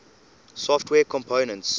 software components